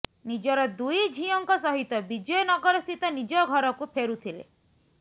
ନିଜର ଦୁଇ ଝିଅଙ୍କ ସହିତ ବିଜୟ ନଗରସ୍ଥିତ ନିଜ ଘରକୁ ଫେରୁଥିଲେ